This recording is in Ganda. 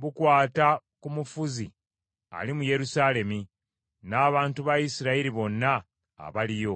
bukwata ku mufuzi ali mu Yerusaalemi, n’abantu ba Isirayiri bonna abaliyo.’